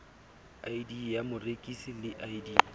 id ya morekisi le id